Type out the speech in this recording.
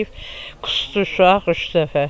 Orda yeyib qusdu uşaq üç dəfə.